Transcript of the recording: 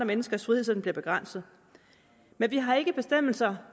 menneskers frihed så den bliver begrænset men vi har ikke bestemmelser